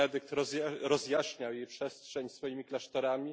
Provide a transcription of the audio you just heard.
Benedykt rozjaśniał jej przestrzeń swoimi klasztorami.